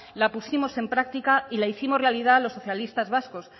la pusimos en práctica y la hicimos realidad los socialistas vascos